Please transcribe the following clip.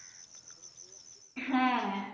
হ্যা